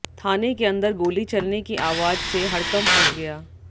थाने के अंदर गोली चलने की आवाज से हड़कंप मच गया